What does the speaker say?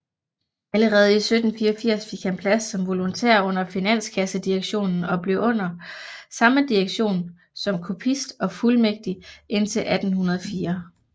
Allerede 1784 fik han plads som volontær under Finanskassedirektionen og forblev under samme direktion som kopist og fuldmægtig indtil 1804